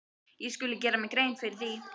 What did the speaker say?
Ég skuli gera mér grein fyrir því.